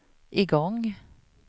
igång